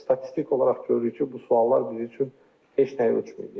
Statistik olaraq görürük ki, bu suallar bizim üçün heç nəyi ölçməyib.